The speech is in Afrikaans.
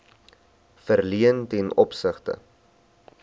verleen ten opsigte